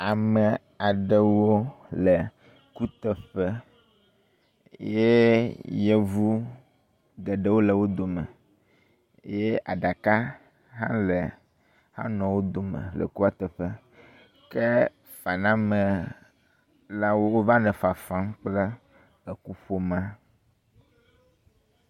Ame aɖewo le kuteƒe ye yevu geɖewo le wo dome ye aɖaka hã le anɔ wo dome le kuateƒe. ke fanamelawo wova le fafam kple ekuƒomea.